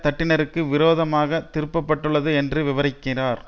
தட்டினருக்கு விரோதமாக திருப்பப்பட்டுள்ளது என்று விவரிக்கிறார்